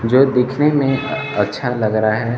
जो दिखने में अच्छा लग रहा है।